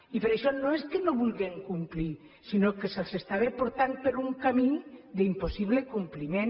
i per això no és que no vulguin complir sinó que se’ls estava portant per un camí d’impossible compliment